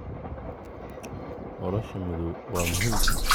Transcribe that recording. Nolosha madow waa muhim